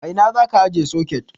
A ina zaka ajiye soket?